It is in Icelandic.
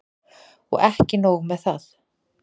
Og ekki nóg með það.